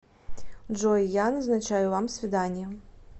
джой я назначаю вам свидание